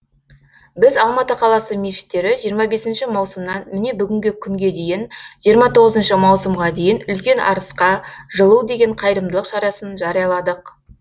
біз алматы қаласы мешіттері жиырма бесінші маусымнан міне бүгінгі күнге дейін жиырма тоғызыншы маусымға дейін үлкен арысқа жылу деген қайырымдылық шарасын жарияладық